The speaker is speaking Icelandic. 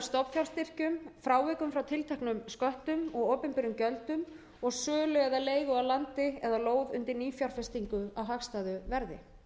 stofnfjárstyrkjum frávikum frá tilteknum sköttum og opinberum gjöldum og sölu eða leigu á landi eða lóð undir nýfjárfestingu á hagstæðu verði